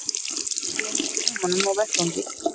Gleymdi símanum á vettvangi